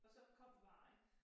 Og så kom vejen